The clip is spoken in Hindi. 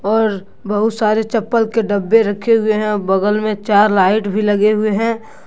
और बहुत सारे चप्पल के डब्बे रखे हुए हैं और बगल में चार लाइट भी लगे हुए हैं।